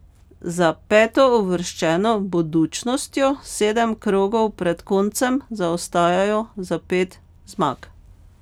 Za petouvrščeno Budućnostjo sedem krogov pred koncem zaostajajo za pet zmag.